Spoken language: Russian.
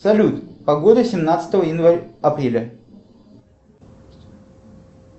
салют погода семнадцатого апреля